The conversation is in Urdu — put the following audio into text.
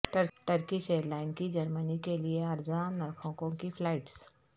ٹرکش ائیر لائن کی جرمنی کےلیے ارزاں نرخوں کی فلائٹس